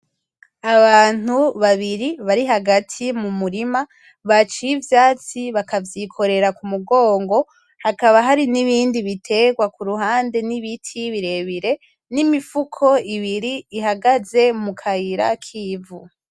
Abantu babiri bari hagati mumurima , baciye ivyatsi bakavyikorera kumu gongo , hakaba hari nibindi biterwa kuruhande nibiti birebire nimifuko ibiri ihagaze mu kayira kivu .